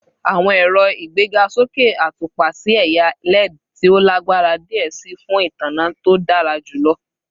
Awọn ero pẹlu igbegasoke atupa si ẹya LED ti o lagbara diẹ sii fun itanna to dara julọ